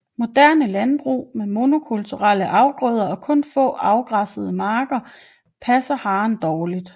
Moderne landbrug med monokulturelle afgrøder og kun få afgræssede marker passer haren dårligt